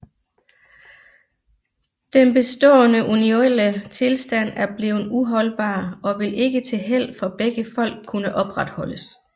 Den bestaaende unionelle Tilstand er bleven uholdbar og vil ikke til Held for begge Folk kunne opretholdes